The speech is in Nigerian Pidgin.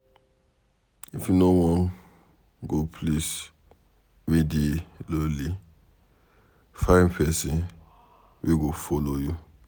If you wan go place wey dey lonely, find pesin wey go follow you.